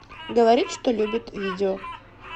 говорит что любит видео